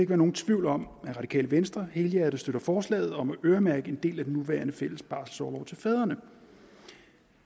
være nogen tvivl om at radikale venstre helhjertet støtter forslaget om at øremærke en del af den nuværende fælles barselsorlov til fædrene